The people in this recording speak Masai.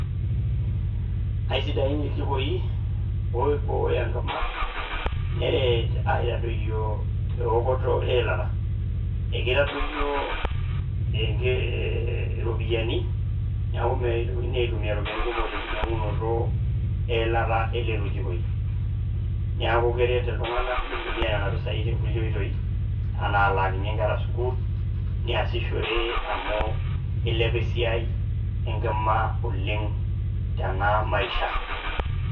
Aisidain iljikoii oibooyo enkima neret aitadoiyo eokoto e ilata ,ekeitadoiyo iropiyiani neaku meitokini aitumiyaa iropiyiani kumok te inkinyang'unoto e ilata e lelo jokoii, neaku keret iltunganak nintumiaa nena pesai too nkule oitoi anaa alaakinye inkera sukuul niashishore amu eilepa esiai e nkima oleng tens maisha.